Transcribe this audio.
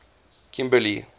kimberley